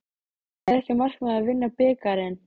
En er ekki markmiðið að vinna bikarinn?